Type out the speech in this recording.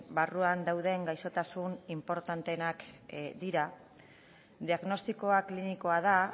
barruan dauden gaixotasun inportanteenak dira diagnostikoa klinikoa da